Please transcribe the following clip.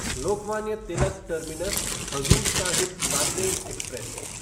Lokmanya Tilak terminus Hazur Sahib Nanded express